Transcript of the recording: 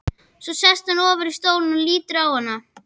Svo sest hann ofar í stólinn og lítur á hana.